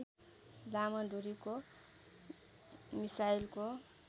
लामो दूरीको मिसाइलको